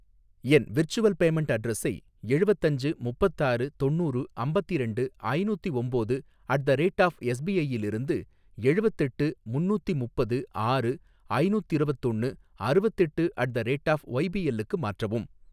என் virtual payment அட்ரஸை எழுவத்தஞ்சு முப்பத்தாறு தொண்ணூறு அம்பத்திரெண்டு ஐநூத்தி ஒம்போது at the rate of SBI இல் இருந்து எழுவத்தெட்டு முன்னுதிமுப்பது ஆறு ஐநூத்திருவத்தொன்னு அறுவத்தெட்டு அட் த ரேட் ஆஃப் ஒய்பிஎல்லுக்கு மாற்றவும்.